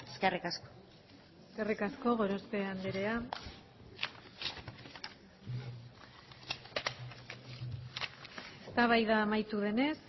eskerrik asko eskerrik asko gorospe andrea eztabaida amaitu denez